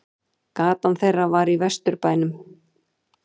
Gatan þeirra var í Vesturbænum.